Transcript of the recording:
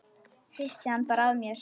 Hristi hann bara af mér.